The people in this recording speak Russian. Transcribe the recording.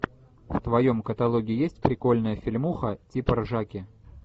в твоем каталоге есть прикольная фильмуха типа ржаки